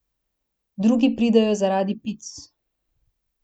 Drugi pridejo zaradi pic.